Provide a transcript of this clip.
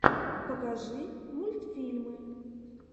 покажи мультфильмы